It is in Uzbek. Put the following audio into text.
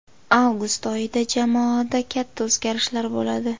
Avgust oyida jamoada katta o‘zgarishlar bo‘ladi.